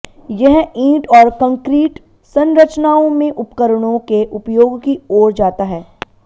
यह ईंट और कंक्रीट संरचनाओं में उपकरणों के उपयोग की ओर जाता है